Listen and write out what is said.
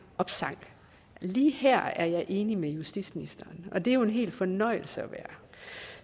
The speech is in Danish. opsang lige her er jeg enig med justitsministeren og det er jo en hel fornøjelse at være